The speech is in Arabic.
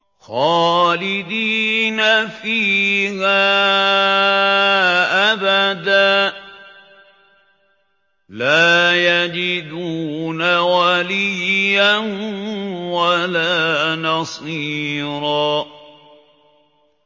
خَالِدِينَ فِيهَا أَبَدًا ۖ لَّا يَجِدُونَ وَلِيًّا وَلَا نَصِيرًا